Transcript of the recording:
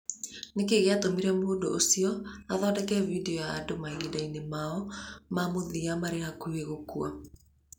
Nĩ kĩĩ gĩatũmire mũndũ ũcio athondeke video ya andũ mahinda-inĩ mao ma mũthia marĩ hakuhĩ gũkua?